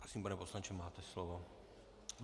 Prosím, pane poslanče, máte slovo.